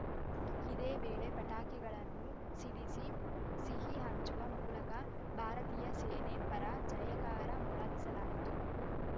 ಇದೇ ವೇಳೆ ಪಟಾಕಿಗಳನ್ನು ಸಿಡಿಸಿ ಸಿಹಿ ಹಂಚುವ ಮೂಲಕ ಭಾರತೀಯ ಸೇನೆ ಪರ ಜಯಕಾರ ಮೊಳಗಿಸಲಾಯಿತು